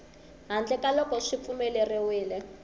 handle ka loko swi pfumeleriwile